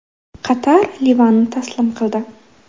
Qatar Livanni taslim qildi .